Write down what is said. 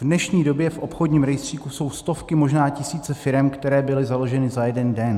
V dnešní době v obchodním rejstříku jsou stovky, možná tisíce firem, které byly založeny za jeden den.